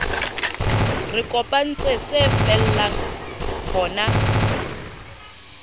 re kopantse se fella hona